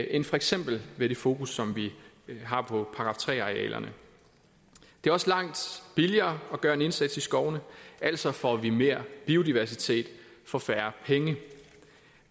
end for eksempel med det fokus som vi har på § tre arealerne det er også langt billigere at gøre en indsats i skovene altså får vi mere biodiversitet for færre penge